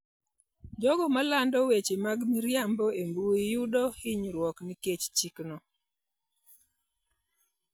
Jogo ma lando weche mag miriambo e mbui, yudo hinyruok nikech chikno.